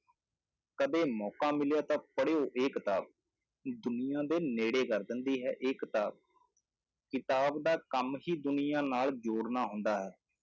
ਕਦੇ ਮੌਕਾ ਮਿਲਿਆ ਤਾਂ ਪੜ੍ਹਿਓ ਇਹ ਕਿਤਾਬ, ਦੁਨੀਆਂ ਦੇ ਨੇੜੇ ਕਰ ਦਿੰਦੀ ਹੈ ਇਹ ਕਿਤਾਬ, ਕਿਤਾਬ ਦਾ ਕੰਮ ਹੀ ਦੁਨੀਆਂ ਨਾਲ ਜੋੜਨਾ ਹੁੰਦਾ ਹੈ,